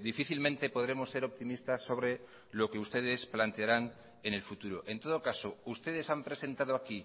difícilmente podremos ser optimistas sobre lo que ustedes plantearán en el futuro en todo caso ustedes han presentado aquí